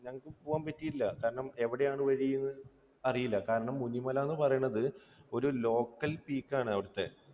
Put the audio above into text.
ഞങ്ങൾക്ക് പോകാൻ പറ്റിയില്ല. കാരണം എവിടെയാണ് വഴിയെന്ന് അറിയില്ല. കാരണം മുനിമല എന്ന് പറയുന്നത് ഒരു ലോക്കൽ peak ആണ് അവിടുത്തെ